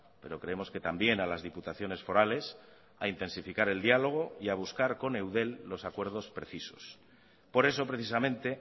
pero creemos que también a las diputaciones forales a intensificar el diálogo y a buscar con eudel los acuerdos precisos por eso precisamente